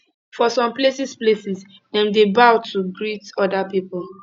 for some places places dem dey bow to greet oda pipo